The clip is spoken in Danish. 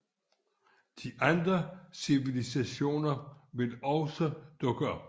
De andre civilisationer vil også dukke op